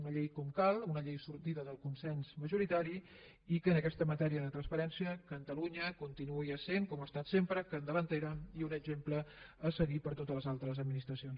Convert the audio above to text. una llei com cal una llei sortida del consens majoritari i que en aquesta matèria de transparència catalunya continuï essent com ho ha estat sempre capdavantera i un exemple a seguir per totes les altres administracions